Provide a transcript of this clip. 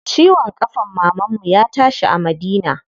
Ciwon ƙafan mamanmu ya tashi a Madina.